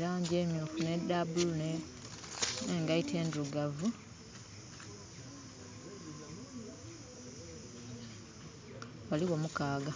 langi emyuufu, n'edha blue, n'engaito endirugavu. Baligho mukaga.